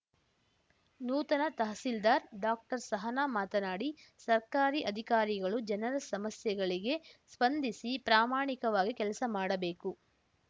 ನೂತನ ತಹಸೀಲ್ದಾರ್‌ ಡಾಕ್ಟರ್ಸಹನ ಮಾತನಾಡಿ ಸರ್ಕಾರಿ ಅಧಿಕಾರಿಗಳು ಜನರ ಸಮಸ್ಯೆಗಳಿಗೆ ಸ್ಪಂದಿಸಿ ಪ್ರಾಮಾಣಿಕವಾಗಿ ಕೆಲಸ ಮಾಡಬೇಕು